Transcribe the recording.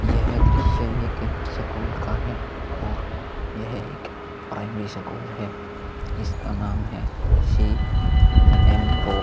यह दृश्य एक सकूल का है और यह एक प्राइमरी सकूल है इसका नाम है शेमरॉक --